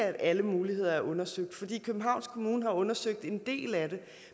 at alle muligheder er undersøgt for københavns kommune har undersøgt en del af det